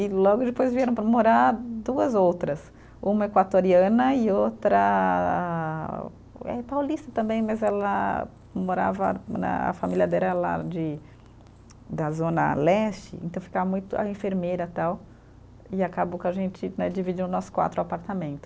E logo depois vieram para morar duas outras, uma equatoriana e outra eh paulista também, mas ela morava né, a família dela era lá de, da zona leste, então ficava muito a enfermeira tal, e acabou que a gente né, dividiu nós quatro o apartamento.